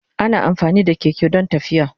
Ana amfani da keke don tafiya.